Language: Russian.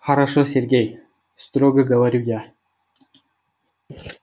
хорошо сергей строго говорю я